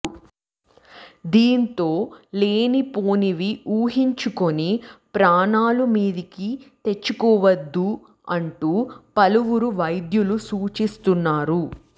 దీంతో లేనిపోనివి ఊహించుకొని ప్రాణాల మీదికి తెచ్చుకోవద్దు అంటూ పలువురు వైద్యులు సూచిస్తున్నారు